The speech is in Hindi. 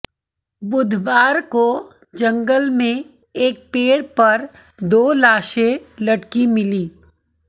बुधवार को जंगल में एक पेड़ पर दो लाशें लटकी मिली